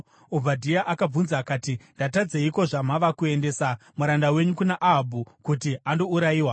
Obhadhia akabvunza akati, “Ndatadzeiko zvamava kuendesa muranda wenyu kuna Ahabhu kuti andourayiwa?